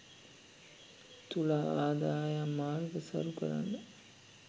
තුලා ආදායම් මාර්ග සරු කරන